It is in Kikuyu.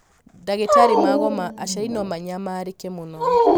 ndagĩtarĩ magoma aciari no manyamarĩke mũno